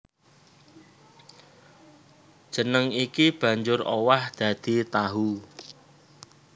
Jeneng iki banjur owah dadi tahu